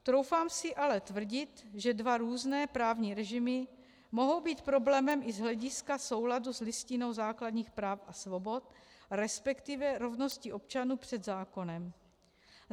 Troufám si ale tvrdit, že dva různé právní režimy mohou být problémem i z hlediska souladu s Listinou základních práv a svobod, respektive rovností občanů před zákonem.